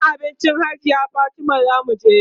gidan abincin hajiya Fatima zamu je